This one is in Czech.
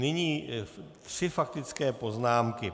Nyní tři faktické poznámky.